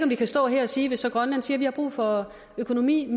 vi kan stå her og sige hvis grønland siger at de har brug for økonomisk